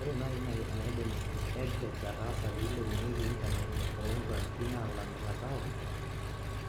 Ore nai enaidim EdTech ataasa pilepunyieki internet too nkwapi nalamita [c]town